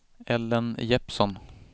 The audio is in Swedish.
Ellen Jeppsson